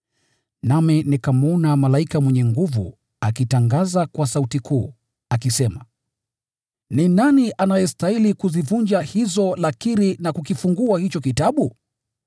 Nami nikamwona malaika mwenye nguvu akitangaza kwa sauti kuu, akisema, “Ni nani anayestahili kuzivunja hizo lakiri na kukifungua kitabu?”